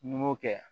N'i m'o kɛ